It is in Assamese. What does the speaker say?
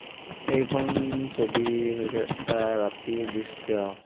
এইখন ছবি হৈছে এটা ৰাতিৰ দৃশ্য।